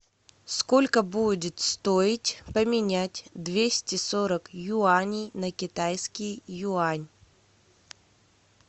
сколько будет стоить поменять двести сорок юаней на китайский юань